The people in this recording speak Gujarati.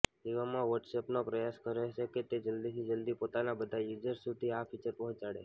એવામાં વોટસએપનો પ્રયાસ રહેશે કે તે જલ્દીથી જલ્દી પોતાના બધા યુઝર્સ સુધી આ ફીચર પહોંચાડે